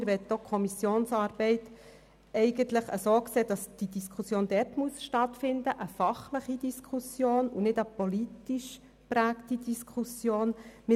Wir sehen die Kommissionsarbeit so, dass diese Diskussion dort stattfindet und es sich um eine fachlich, nicht aber um eine politisch geprägte Diskussion handeln muss.